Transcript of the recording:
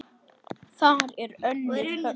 Þar er önnur höfn.